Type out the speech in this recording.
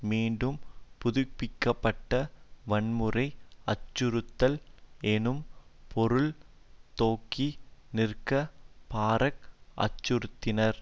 மீண்டும் புதுப்பிக்க பட்ட வன்முறை அச்சுறுத்தல் எனும் பொருள் தொக்கி நிற்க பாராக் அச்சுறுத்தினார்